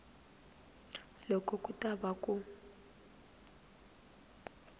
loko ku ta va ku